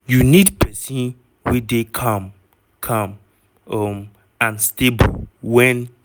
"you need pesin wey dey calm calm um and stable wen